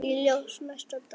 Í ljósi næsta dags